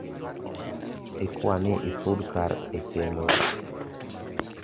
ikwani isud kar e chenro